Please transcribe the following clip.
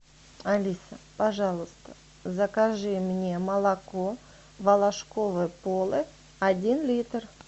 алиса пожалуйста закажи мне молоко волошкове поле один литр